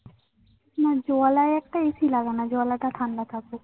না জলায় একটা AC লাগানো জলাটা ঠান্ডা থাকে।